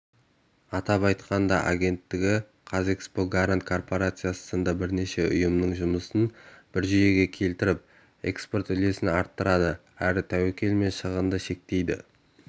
атап айтқанда агенттігі қазэкспортгарант корпорациясы сынды бірнеше ұйымның жұмысын бір жүйеге келтіріп экспорт үлесін арттырады әрі тәуекел мен шығынды шектейді